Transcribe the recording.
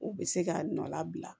U bɛ se k'a nɔ labila